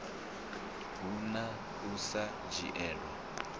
hu na u sa dzhielwa